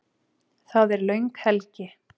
Það er löng helgi.